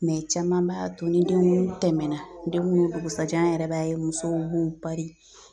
caman b'a to ni denguli tɛmɛnna denguli dugusɛjɛ an yɛrɛ b'a ye musow b'u pari.